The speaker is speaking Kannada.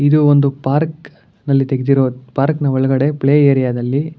ಇದು ಒಂದು ಪಾರ್ಕ್ ನಲ್ಲಿ ತೆಗೆದಿರೋ ಪಾರ್ಕ್ ಒಳ್ಗಡೆ ಪ್ಲೇ ಏರಿಯಾ ದಲ್ಲಿ --